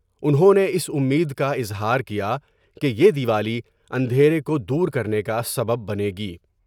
انہوں نے اس امید کا اظہار کیا کہ یہ د یوالی اندھیرے کو دور کرنے کا سبب بنے گی ۔